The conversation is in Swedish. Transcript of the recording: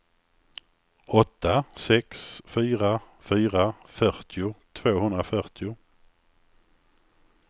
åtta sex fyra fyra fyrtio tvåhundrafyrtio